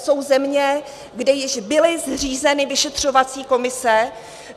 Jsou země, kde již byly zřízeny vyšetřovací komise.